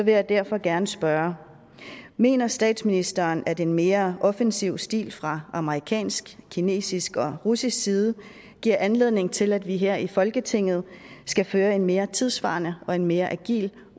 jeg derfor gerne spørge mener statsministeren at en mere offensiv stil fra amerikansk kinesisk og russisk side giver anledning til at vi her i folketinget skal føre en mere tidssvarende og en mere agil